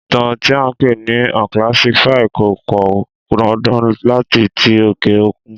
Ìtàn tí à ń pè ní unclassified kò pan dandan láti tí òkè òkun